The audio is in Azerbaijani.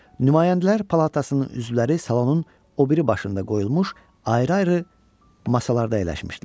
Nümayəndələr palatasının üzvləri salonun o biri başında qoyulmuş ayrı-ayrı masalarda əyləşmişdilər.